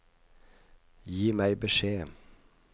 Gi meg beskjed